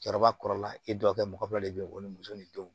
Cɛkɔrɔba kɔrɔla e dɔgɔkɛ mɔgɔ dɔ de bɛ yen ko ni muso ni denw